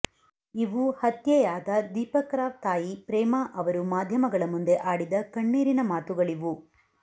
ಇವು ಹತ್ಯೆಯಾದ ದೀಪಕ್ ರಾವ್ ತಾಯಿ ಪ್ರೇಮ ಅವರು ಮಾಧ್ಯಮಗಳ ಮುಂದೆ ಆಡಿದ ಕಣ್ಣೀರಿನ ಮಾತುಗಳಿವು